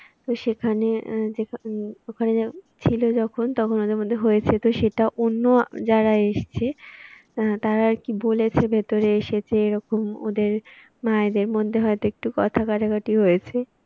তো সেখানে ছিল যখন তখন ওদের মধ্যে হয়েছে তো সেটা অন্য যারা এসছে আহ তারা আর কি বলেছে ভেতরে এসেছে এরকম ওদের মায়েদের মধ্যে হয় তো একটু কথা কাটাকাটি হয়েছে।